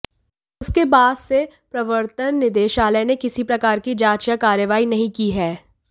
उसके बाद से प्रवर्तन निदेशालय ने किसी प्रकार की जांच या कार्रवाई नहीं की है